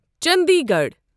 Chandigarh